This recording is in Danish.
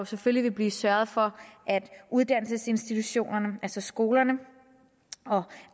selvfølgelig vil blive sørget for at uddannelsesinstitutionerne altså skolerne og